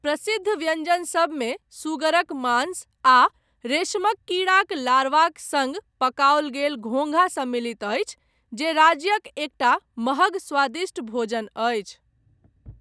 प्रसिद्ध व्यंजनसभमे सुगरक मांस आ रेशमक कीड़ाक लार्वाक सँग पकाओल गेल घोंघा सम्मिलित अछि, जे राज्यक एकटा महग स्वादिष्ट भोजन अछि।